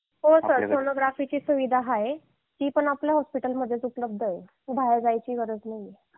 हो सर सोनोग्राफीची सुविधा आहे ती पण आपल्या हॉस्पिटलमध्येच उपलब्ध आहे बाहेर जायची गरज नाही